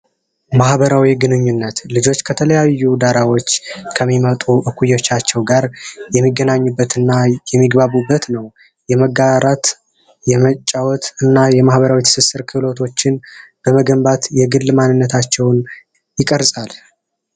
ማህበራዊ ግንኙነት ልጆች ከተለያዩ ዳራዎች ከሚመጡ እኩዮቻቸው ጋር የሚገናኙበት እና የሚግባቡበት ነው። የመጋራት ፣የመጫወት እና የማህበረሰባዊ ትስስር ክህሎቶች በመገንባት የግል ማንነቶቻቸውን ይቀርፃል።